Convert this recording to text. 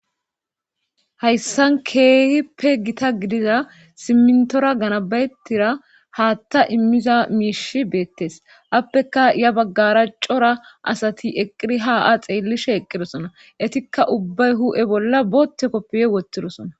Hayssan keehippe gita gidiza simintora ganabayettira haatta immiza miishi beettes appeka ya baggaraacora asati eqiri ha a xeellishe eqqidosona etikka ubbay hu7e bolla bootte koppeye wottidosona.